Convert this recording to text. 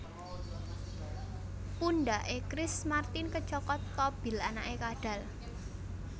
Pundak e Chris Martin kecokot tobil anake kadhal